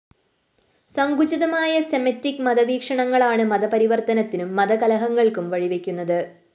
സങ്കുചിതമായ Semitic മത വീക്ഷണങ്ങളാണ്‌ മതപരിവര്‍ത്തനത്തിനും മതകലഹങ്ങള്‍ക്കും വഴിവെയ്ക്കുന്നത്‌